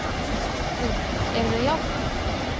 Guðný: Eru þau jákvæð?